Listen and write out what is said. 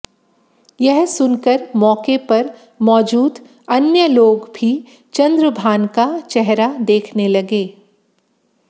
यह सुनकर मौके पर मौजूद अन्य लोग भी चंद्रभान का चेहरा देखने लगे